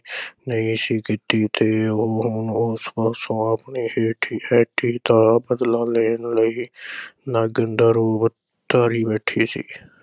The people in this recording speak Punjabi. ਨਹੀਂ ਸੀ ਕੀਤੀ ਤੇ ਉਹ ਹੁਣ ਉਸ ਪਾਸੋਂ ਆਪਣੀ ਹੇਠੀ ਹੇਠੀ ਦਾ ਬਦਲਾ ਲੈਣ ਲਈ ਨਾਗਣ ਦਾ ਰੂਪ ਧਾਰੀ ਬੈਠੀ ਸੀ।